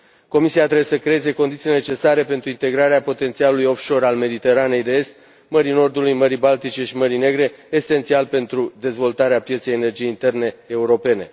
Comisia trebuie să creeze condițiile necesare pentru integrarea potențialului offshore al Mediteranei de Est, Mării Nordului, Mării Baltice și Mării Negre, esențial pentru dezvoltarea pieței energiei interne europene.